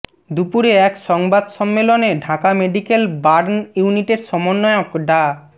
দুপুরে এক সংবাদ সম্মেলনে ঢাকা মেডিকেল বার্ন ইউনিটের সমন্বয়ক ডা